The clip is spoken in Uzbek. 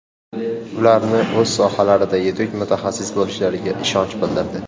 Ularni o‘z sohalarida yetuk mutaxassis bo‘lishlariga ishonch bildirdi.